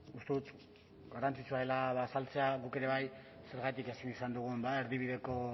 uste dut garrantzitsua dela ba azaltzea guk ere bai zergatik ezin izan dugun erdibideko